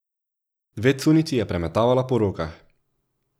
Dve cunjici je premetavala po rokah.